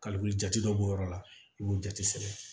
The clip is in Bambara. Kaliwulu jate dɔw b'o yɔrɔ la i b'o jate sɛbɛn